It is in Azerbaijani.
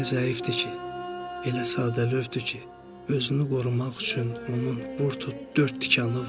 O elə zəifdir ki, elə sadəlövdür ki, özünü qorumaq üçün onun vur tut dörd tikanı var.